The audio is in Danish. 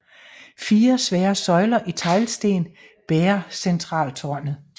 Fire svære søjler i teglsten bærer centraltårnet